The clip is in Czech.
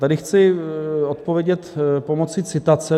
Tady chci odpovědět pomoci citace.